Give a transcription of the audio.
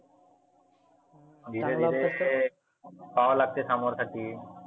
धिरे धिरे पहावा लागते सामोर साठी.